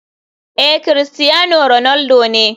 Ee, cristiano ronaldo ne.